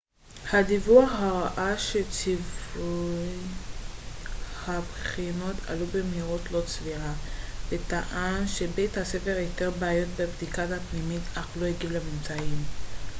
הדיווח הראה שציוני הבחינות עלו במהירות לא סבירה וטען שבית הספר איתר בעיות בבדיקה פנימית אך לא הגיב לממצאים